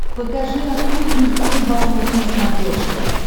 покажи охотник и рыболов на смотрешке